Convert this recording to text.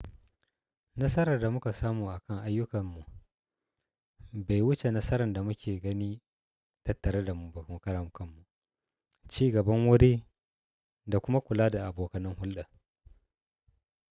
Nasarar da muka samu a kan ayyukanmu, bai wuce nasarar da muke gani tattare da mu ba. Mu karan kanmu, ci gaban wuri da kuma kula da abokanin hulɗa.